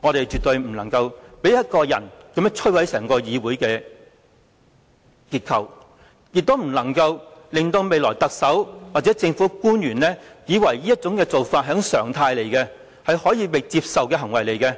我們絕對不能讓一個人摧毀整個議會的結構，亦不能讓未來特首或政府官員以為這做法是一種常態，是可以接受的行為，甚至